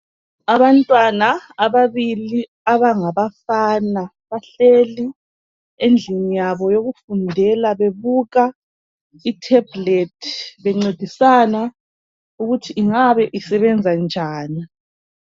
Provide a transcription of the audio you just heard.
Abantwana ababili abangabafana bahleli endlin yabo yokufundela bebuka ithebhlethi bencedisana ukuthi ungabe isebenza njani.